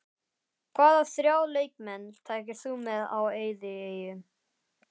Hvaða þrjá leikmenn tækir þú með á eyðieyju?